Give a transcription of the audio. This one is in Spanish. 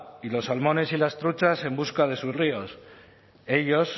y los salmones y las truchas en busca de sus ríos ellos